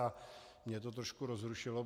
A mě to trošku rozrušilo.